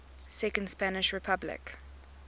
second spanish republic